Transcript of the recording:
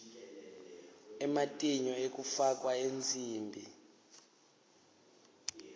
ematinyo ekufakwa ensimbi